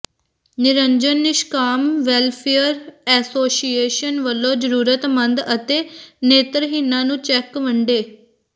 Niranjan Nishkam welfare association ਵਲੋਂ ਜ਼ਰੂਰਤਮੰਦ ਅਤੇ ਨੇਤਰਹੀਣਾਂ ਨੂੰ ਚੈਕ ਵੰਡੇ